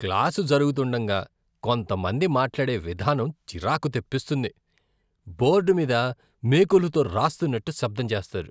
Class జరుగుతుండగా కొంత మంది మాట్లాడే విధానం చిరాకు తెప్పిస్తుంది, బోర్డు మీద మేకులతో రాస్తున్నట్టు శబ్దం చేస్తారు.